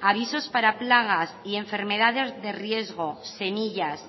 avisos para plagas y enfermedades de riesgo semillas